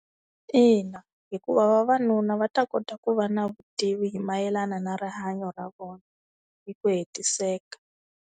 Ina hikuva vavanuna va ta kota ku va na vutivi hi mayelana na rihanyo ra vona hi ku hetiseka.